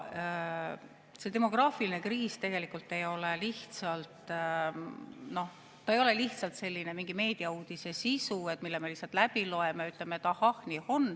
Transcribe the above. See demograafiline kriis tegelikult ei ole lihtsalt mingi meediauudise sisu, mille me läbi loeme ja ütleme, et ahah, nii on.